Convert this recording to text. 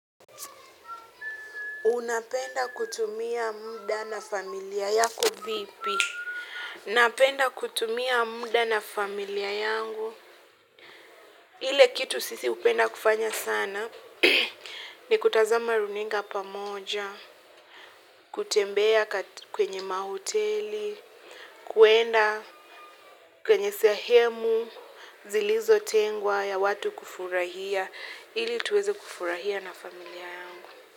Unapenda kutumia muda na familia yako vipi? Napenda kutumia muda na familia yangu. Ile kitu sisi hupenda kufanya sana. Ni kutazama runinga pamoja, kutembea kwenye mahoteli, kuenda kwenye sehemu, zilizotengwa ya watu kufurahia. Ili tuweze kufurahia na familia yangu.